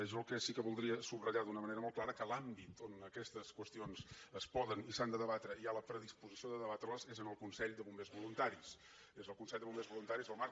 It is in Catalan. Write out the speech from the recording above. jo el que sí que voldria subratllar d’una manera molt clara és que l’àmbit on aquestes qüestions es poden i s’han de debatre i hi ha la predisposició de debatre les és el consell de bombers voluntaris és el consell de bombers voluntaris el marc